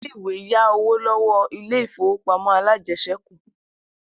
Ilé-ìwé yá owó lọ́wọ́ ilé ìfowópamọ́ alájẹsẹ́kù